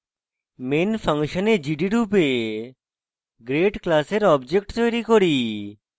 main ফাংশনে gd রূপে grade class object তৈরী করি